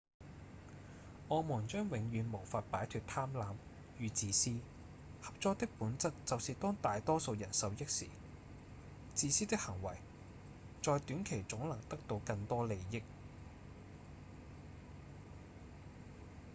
我們將永遠無法擺脫貪婪與自私合作的本質就是當大多數人受益時自私的行為在短期總能得到更多利益